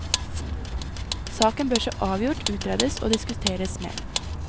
Saken bør så avgjort utredes og diskuteres mer.